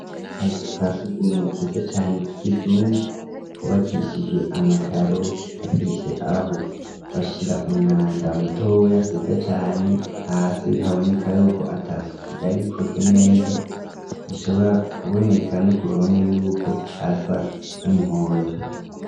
Akazu ka sugumwe keza cane k'ikizungu kubakishijwe amakaro gafise aho bashira umwanda mutoya heza cane hasi haboneka yuko atasuko ryari rikozwe neza bishobora kuboneka no kuruhome yuko hasa n'umuhondo.